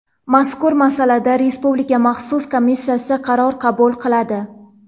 Mazkur masalada Respublika maxsus komissiyasi qaror qabul qiladi.